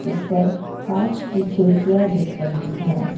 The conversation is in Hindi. ऊपर कांच की खिड़कियां दिख रही है।